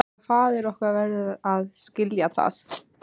Og faðir okkar verður að skilja það.